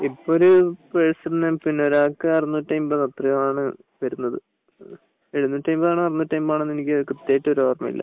ഇപ്പം ഒരു പേഴ്സണ് ഒരാൾക്ക് അറുനൂറ്റി അൻപത് എത്രയോ ആണ് വരുന്നത് എഴുന്നൂറ്റി അൻപത് ആണോ അറുനൂറ്റി അൻപത് ആണോ എന്ന് എനിക്ക് കൃത്യായിട്ട് ഓർമയില്ല